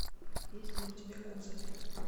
есть ли у тебя козы